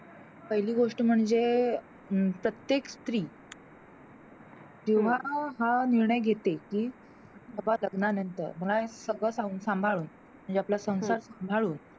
पहिली गोष्ट म्हणजे अं प्रत्येक स्री जेव्हा हा निर्णय घेते, कि मला लग्नानंतर मला सगळं सं सांभाळून म्हणजे आपला संसार सांभाळून.